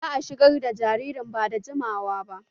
Za'a shigar da jaririn ba da jimawa ba